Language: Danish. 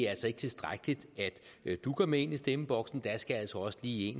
altså ikke tilstrækkeligt at du går med ind i stemmeboksen der skal altså også lige